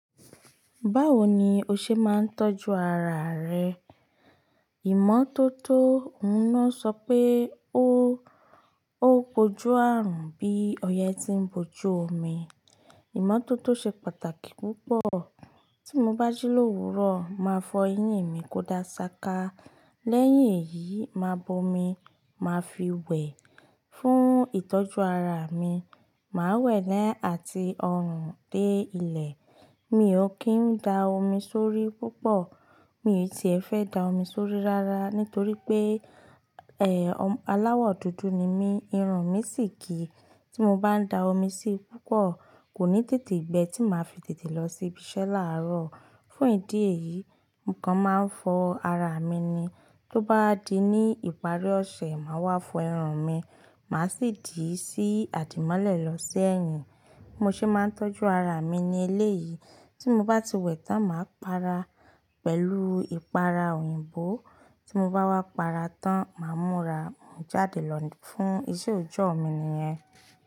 Báwo ni o ṣe máa ń tọ́jú ara rẹ? Ìmọ́tótó, òun náà sọ pé ó, ó kojú àrùn bí ọyẹ́ tí ń bojú omi. Ìmọ́tótó ṣe pàtàkì púpọ̀. Tí mo bá jí l'òwúrò, màá fọ eyín mi kó dá ṣaka. Lẹ́yìn èyí, máa bo omi, màá fi wẹ̀ fún ìtọ́jú ara mi. Màá wẹ̀ ẹ́ àti ọrùn dé ilẹ̀. Mi ò kí ń da omi sórí púpọ̀. Mi ò ti fẹ́ da omi sórí rárá nítorí pé, ẹ́, aláwọ̀ dúdú ni mí, irun mi sì kì í. Tí mo bá n da omi sí i púpọ̀, kò ní tètè gbẹ tí màá fi tètè lọ sí ibi iṣẹ́ láàárọ̀. Fún ìdí èyí, nǹkan máa ń fọ ara mi ni. Tó bá di ní ìparí ọ̀sẹ̀, màá wá fọ irun mi, màá sì dìí sí àdìmọ́lẹ̀ lọ sẹ́yìn. Bí mo ṣe máa ń tọ́jú ara mi ní eléyìí. Tí mo bá ti wẹ̀ tán, màá para pẹ̀lú ìpara òyìnbó. Tí mo bá wá para tán, màá múra. Mò ń jáde lọ fún iṣẹ́ òòjọ́ mi nìyẹn.